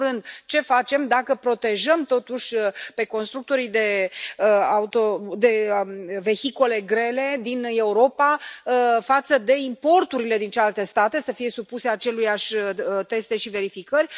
În primul rând, ce facem dacă îi protejăm totuși pe constructorii de vehicule grele din Europa față de importurile din celelalte state, să fie supuse acelorași teste și verificări.